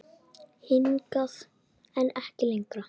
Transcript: Hingað, en ekki lengra.